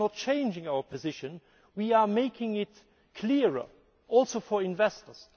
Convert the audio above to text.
We are not changing our position we are making it clearer, also for investors.